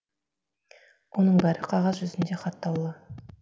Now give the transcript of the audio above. оның бәрі қағаз жүзінде хаттаулы